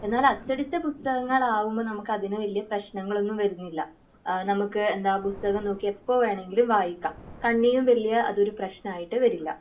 എന്നാൽ അച്ചടിച്ച പുസ്തകങ്ങൾ ആകുമ്പോൾ നമുക്ക് അതിന് വല്യേ പ്രശ്നങ്ങളൊന്നും വരുന്നില്ല. ഏഹ് നമുക്ക് എന്താ പുസ്തകം നോക്കി എപ്പൊ വേണങ്കിലും വായിക്കാം.കണ്ണിനും വലിയ അതൊരു പ്രശ്നം ആയിട്ട് വരില്ല.